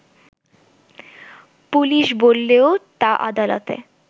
police বললেও তা আদালতে